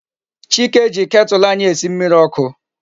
Chike ji Ketulu anyi esi mmiri oku